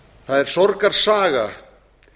það er sorgarsaga